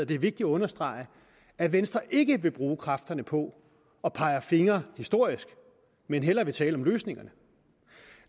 det er vigtigt at understrege at venstre ikke vil bruge kræfterne på at pege fingre historisk men hellere vil tale om løsningerne